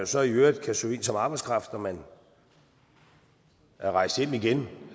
så i øvrigt kan søge ind som arbejdskraft når man er rejst hjem igen